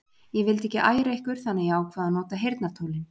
Ég vildi ekki æra ykkur þannig að ég ákvað að nota heyrnartólin.